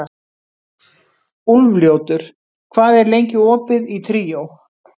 Úlfljótur, hvað er lengi opið í Tríó?